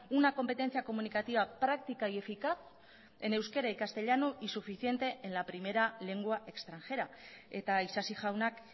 una competencia comunicativa práctica y eficaz en euskera y castellano y suficiente en la primera lengua extranjera eta isasi jaunak